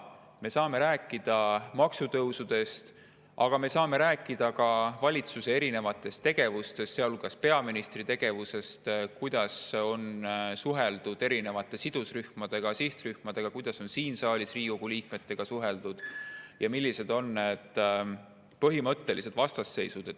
Me saame rääkida maksutõusudest, aga me saame rääkida ka valitsuse erinevatest tegevustest, sealhulgas peaministri tegevusest, sellest, kuidas on suheldud sidusrühmadega, sihtrühmadega, kuidas on siin saalis Riigikogu liikmetega suheldud ja millised on põhimõttelised vastasseisud.